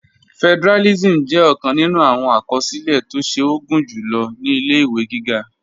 Federalism jẹ ọkan nínú awọn akọsilẹ̀ tó ṣe o gunjulo ni ilẹ̀-iwe gígá.